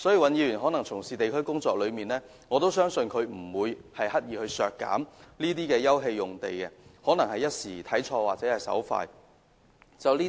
尹議員從事地區工作多年，我相信他不會刻意削減休憩用地，而可能只是一時看錯了或手文之誤。